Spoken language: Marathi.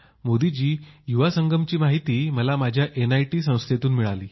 मोदी जी युवा संगमची माहिती मला माझ्या एनआयटी या शिक्षणसंस्थेत मिळाली